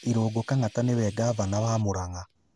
Irungu Kang'ata niwe Ngavana wa Murang'a